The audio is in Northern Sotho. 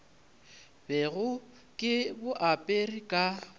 bego ke bo apere ka